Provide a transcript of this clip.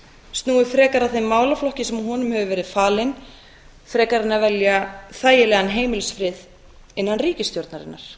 snúi frekar að þeim málaflokki sem honum hefur verið falinn en að velja þægilegan heimilisfrið innan ríkisstjórnarinnar